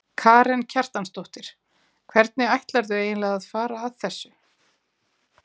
Karen Kjartansdóttir: Hvernig ætlarðu eiginlega að fara að þessu?